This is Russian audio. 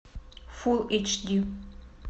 фулл эйч ди